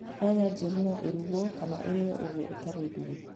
Nyanya njĩru no ĩrugwo kana ĩrĩo uguo ĩtarĩ nduge.